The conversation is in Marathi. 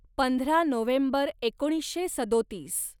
पंधरा नोव्हेंबर एकोणीसशे सदोतीस